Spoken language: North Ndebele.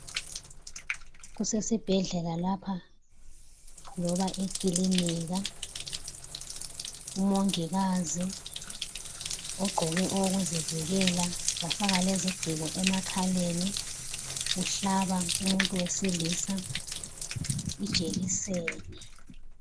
Kusesibhedlela lapha, loba ekilinika. Umongikazi ogqoke okokuzivikela wafaka lezigciko emakhaleni uhlaba umuntu wesilisa ijekiseni.